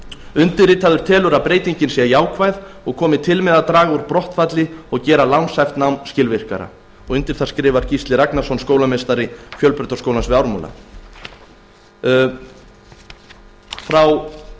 undirritaður telur að breytingin sé jákvæð og komi til með að draga úr brottfalli og gera lánshæft nám skilvirkara undir það skrifar gísli ragnarsson skólameistari fjölbrautaskólans við ármúla frá